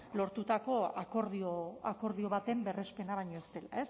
lortutako akordio baten berrespena baino ez dela